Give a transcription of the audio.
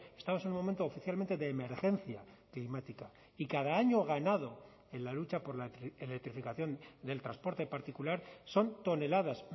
estamos en un momento oficialmente de emergencia climática y cada año ganado en la lucha por la electrificación del transporte particular son toneladas